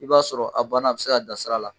I b'a sɔrɔ a bana a ti se ka da sira la.